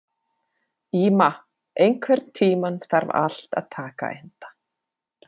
Íma, einhvern tímann þarf allt að taka enda.